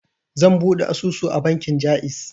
Zan buɗe asusu a bankin Jaiz.